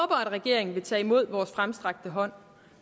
regeringen vil tage imod vores fremstrakte hånd